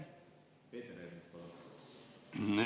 Peeter Ernits, palun!